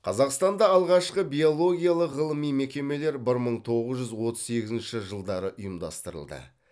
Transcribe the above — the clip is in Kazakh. қазақстанда алғашқы биологиялық ғылыми мекемелер бір мың тоғыз жүз отыз сегізінші жылдары ұйымдастырылды